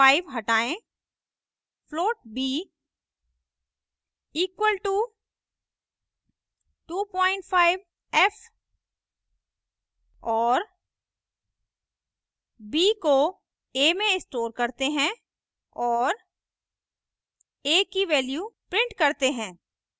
5 हटायें float b equal to 25f और b को a में store करते हैं और a की value print करता है